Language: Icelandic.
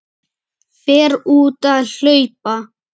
Dýrmæt samtöl svo tímunum skipti.